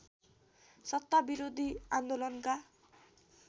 सत्ता विरोधी आन्दोलनका